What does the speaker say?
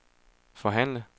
forhandle